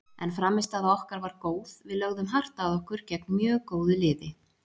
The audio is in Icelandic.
En frammistaða okkar var góð, við lögðum hart að okkur gegn mjög góðu liði.